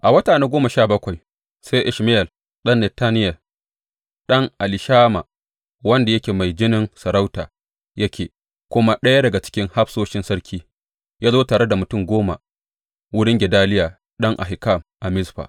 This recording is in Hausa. A wata na goma sha bakwai sai Ishmayel ɗan Netaniya, ɗan Elishama, wanda yake mai jinin sarauta yake kuma ɗaya daga cikin hafsoshin sarki, ya zo tare da mutum goma wurin Gedaliya ɗan Ahikam a Mizfa.